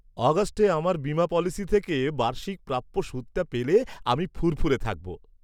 আগস্টে আমার বীমা পলিসি থেকে বার্ষিক প্রাপ্য সুদটা পেলে আমি ফুরফুরে থাকবো।